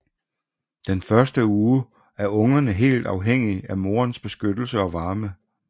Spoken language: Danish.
Den første uge er ungerne helt afhængige af moderens beskyttelse og varme